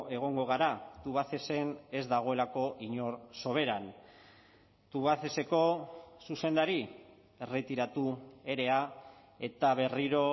egongo gara tubacexen ez dagoelako inor soberan tubacexeko zuzendari erretiratu erea eta berriro